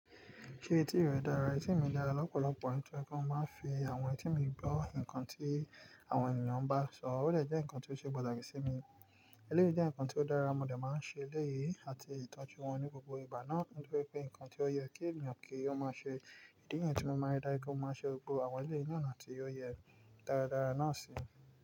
Kí etí rẹ dára, etí mi dára lọ́pọ̀lọpọ̀ nítorí pé kí n má fi àwọn etí mi gbọ́ nǹkan tí àwọn ènìyàn bá ń sọ, ó lè jẹ́ ǹkan tó ṣe pàtàkì sí mi. Eléyi jẹ́ ǹkan tó dára, mo dè máa ń ṣe lẹ́yìn àti ìtọ́jú wọn ní gbogbo ìgbà náà. Nítorí pé nǹkan tí ó yẹ kí ènìyàn kí ó máa ṣe. Idí ni yen mo máa ń darí kí n máa ṣe gbogbo àwọn ilé ìná ti ó yẹ dáradára náà sí i.